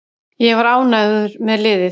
Ég var ánægður með liðið.